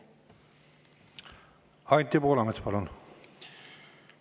Anti Poolamets, palun!